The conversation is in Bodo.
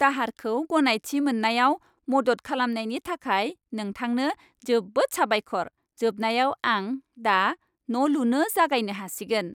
दाहारखौ गनायथि मोननायाव मदद खालामनायनि थाखाय नोंथांनो जोबोद साबायखर। जोबनायाव आं दा न' लुनो जागायनो हासिगोन।